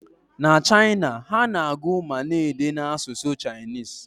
Na China, ha na-agụ ma na-ede n'asụsụ Chinese